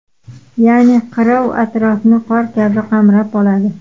Ya’ni qirov atrofni qor kabi qamrab oladi.